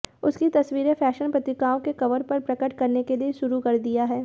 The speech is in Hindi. उसकी तस्वीरें फैशन पत्रिकाओं के कवर पर प्रकट करने के लिए शुरू कर दिया है